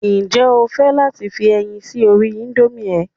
Ǹjẹ́ o fẹ́ láti fi ẹyin sí orí nódùsì rẹ?